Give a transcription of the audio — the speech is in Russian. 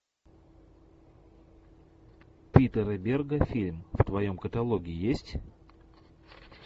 питера берга фильм в твоем каталоге есть